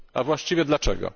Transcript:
A właściwie dlaczego?